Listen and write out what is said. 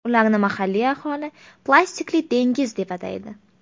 Ularni mahalliy aholi plastikli dengiz deb ataydi.